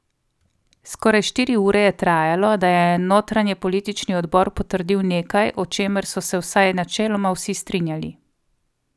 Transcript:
Skoraj štiri ure je trajalo, da je notranjepolitični odbor potrdil nekaj, o čemer so se vsaj načeloma vsi strinjali.